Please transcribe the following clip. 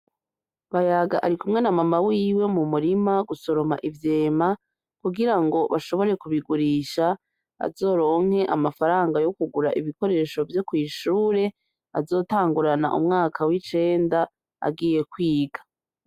Bayaga arikumwe na mama wiwe mumurima gusoroma ivyema, kugira ngo ashobore kubigurisha azoronke amafaranga yokugura ibikoresho vyo kw'ishure azotangurana umwaka w'icenda agiye kwiga.